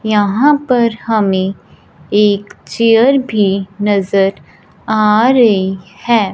यहां पर हमे एक चेयर भी नजर आ रही है।